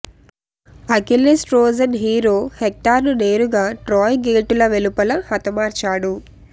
Achilles Trojan hero హెక్టర్ను నేరుగా Troy గేటుల వెలుపల హతమార్చాడు